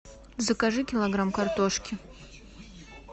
закажи килограмм картошки